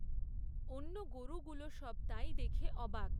অন্য গরুগুলো সব তাই দেখে অবাক।